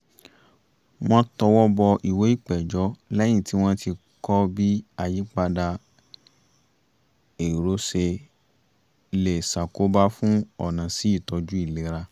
wọ́n tọwọ́bọ ìwé ìpẹ̀jọ́ lẹ́yìn tí wọ́n ti kọ́ bí àyípadà èrò ṣe lè ṣàkóbá fún ọ̀nà sí ìtọ́jú ìlera